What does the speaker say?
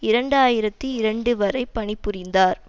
இரண்டு ஆயிரத்தி இரண்டு வரை பணி புரிந்தார்